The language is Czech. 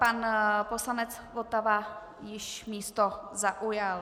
Pan poslanec Votava již místo zaujal.